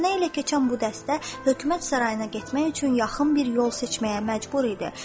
Təntənə ilə keçən bu dəstə hökumət sarayına getmək üçün yaxın bir yol seçməyə məcbur idi.